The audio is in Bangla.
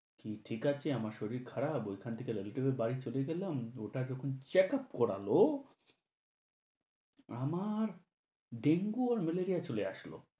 ঠি~ ঠিক আছে, আমার শরীর খারাপ, ঐখান থেকে ললিটুপের বাড়ি চলে গেলাম, দুটা যখন checkup করালো আমার dengue আর malaria চলে আসলো।